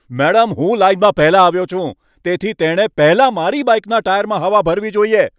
Madam, હું લાઈનમાં પહેલા આવ્યો છું, તેથી તેણે પહેલા મારી બાઇકના ટાયરમાં હવા ભરવી જોઈએ.